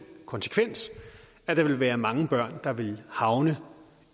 konsekvens at der ville være mange børn der ville havne